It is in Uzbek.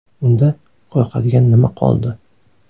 Unda, qo‘rqadigan nima qoldi?